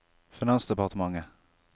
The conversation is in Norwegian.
finansdepartementet